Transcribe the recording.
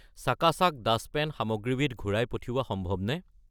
চাকা চাক dust pan সামগ্ৰীবিধ ঘূৰাই পঠিওৱা সম্ভৱনে?